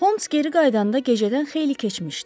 Holms geri qayıdanda gecədən xeyli keçmişdi.